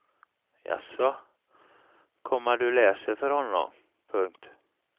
Jasså, komma du läser för honom. punkt